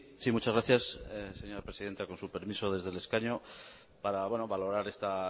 sí muchas gracias señora presidenta con su permiso desde el escaño para valorar esta